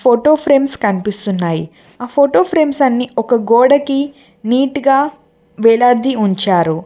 Photo frames కనిపిస్తున్నాయి ఆ photo frames అన్ని ఒక గోడకి నీటు గా వేలాది ఉంచారు.